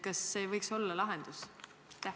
Kas see ei võiks olla lahendus?